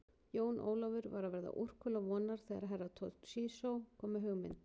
Jón Ólafur var að verða úrkula vonar þegar Herra Toshizo kom með hugmynd.